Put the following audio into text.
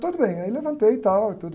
Tudo bem, aí levantei e tal e tud